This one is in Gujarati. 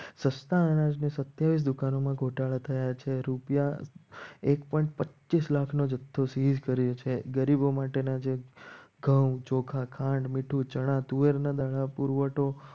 સસ્તા અનાજની સત્તાવીસ દુકાનમાં ગોટાળા થયા છે. રૂપિયા એક સો પચીસ લાખનો જથ્થો શીલ કર્યો છે. ગરીબો માટેના જે ઘઉં ચોખા ખાંડ મીઠું ચણા તુવેરના દાણા પુરવઠો